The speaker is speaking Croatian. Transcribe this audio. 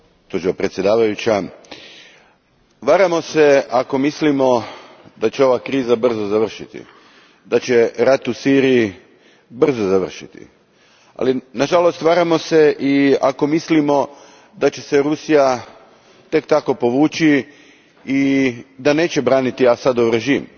Gospođo predsjednice, varamo se ako mislimo da će ova kriza brzo završiti, da će rat u Siriji brzo završiti. Nažalost, varamo se i ako mislimo da će se Rusija tek tako povući i da neće braniti Asadov režim.